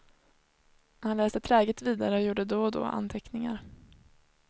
Han läste träget vidare och gjorde då och då anteckningar.